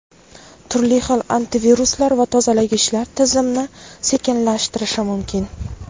turli xil antiviruslar va tozalagichlar tizimni sekinlashtirishi mumkin.